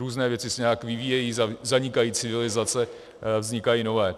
Různé věci se nějak vyvíjejí, zanikají civilizace, vznikají nové.